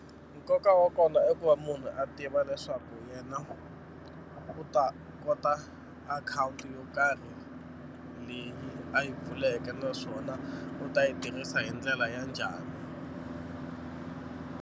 Nkoka wa kona i ku va munhu a tiva leswaku yena u ta kota akhawunti yo karhi leyi a yi pfuleka naswona u ta yi tirhisa hi ndlela ya njhani.